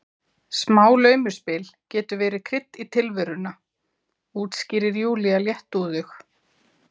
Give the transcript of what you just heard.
Smá laumuspil getur verið krydd í tilveruna, útskýrir Júlía léttúðug.